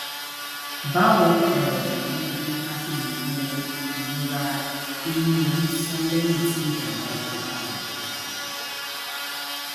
báwo um ni a ṣe lè wo irora eni ori ń sán lẹyìn tí ijàǹbá ọkọ bá ṣẹlẹ